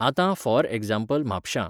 आतां for example म्हापशां